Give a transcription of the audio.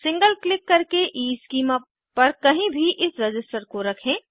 single click करके schema पर कहीं भी इस रज़िस्टर को रखें